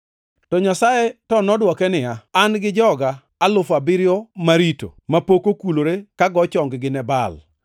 To Nyasaye to nodwoke niya, “An gi joga alufu abiriyo marito mapok okulore ka go chong-gi ne Baal.” + 11:4 \+xt 1Ruo 19:18\+xt*